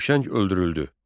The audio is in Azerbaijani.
Huşəng öldürüldü.